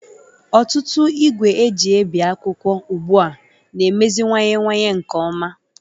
Ọtụtụ igwe eji ebi akwụkwọ ugbu a na-emeziwanyewanye nke ọma